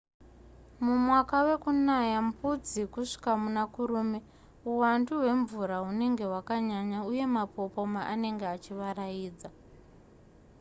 mumwaka wekunaya mbudzi kusvika muna kurume uwandu hwemvura hunenge hwakanyanya uye mapopoma anenge achivaraidza